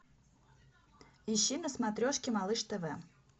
ищи на смотрешке малыш тв